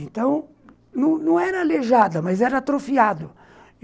Então, não não era aleijada, mas era atrofiado.